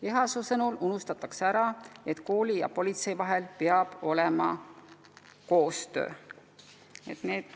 Tema sõnul unustatakse ära, et kooli ja politsei vahel peab olema koostöö.